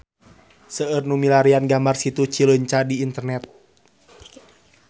Seueur nu milarian gambar Situ Cileunca di internet